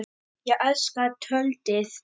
Ég elska töltið.